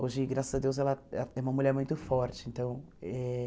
Hoje, graças a Deus, ela é uma mulher muito forte então eh.